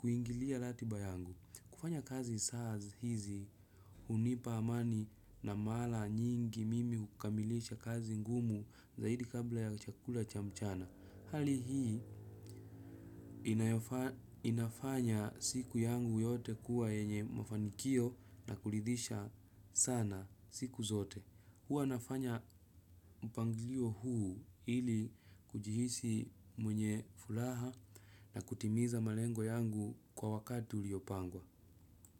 kuingilia ratiba yangu. Kufanya kazi saa hizi hunipa amani na mara nyingi mimi hukamilisha kazi ngumu zaidi kabla ya chakula cha mchana. Hali hii inafanya siku yangu yote kuwa yenye mafanikio na kuridhisha sana siku zote. Huwa nafanya mpangilio huu ili kujihisi mwenye furaha na kutimiza malengo yangu kwa wakati uliopangwa.